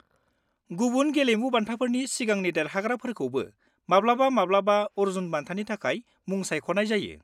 -गुबुन गेलेमु बान्थाफोरनि सिगांनि देरहाग्राफोरखौबो माब्लाबा-माब्लाबा अर्जुन बान्थानि थाखाय मुं सायख'नाय जायो।